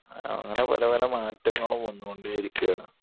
അങ്ങിനെ പല പല മാറ്റങ്ങളും വന്നുകൊണ്ടേ ഇരിക്കുവാണ്